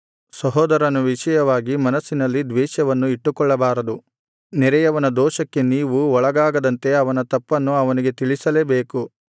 ಸಹೋದರನ ವಿಷಯವಾಗಿ ಮನಸ್ಸಿನಲ್ಲಿ ದ್ವೇಷವನ್ನು ಇಟ್ಟುಕೊಳ್ಳಬಾರದು ನೆರೆಯವನ ದೋಷಕ್ಕೆ ನೀವು ಒಳಗಾಗದಂತೆ ಅವನ ತಪ್ಪನ್ನು ಅವನಿಗೆ ತಿಳಿಸಲೇಬೇಕು